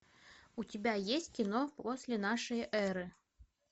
у тебя есть кино после нашей эры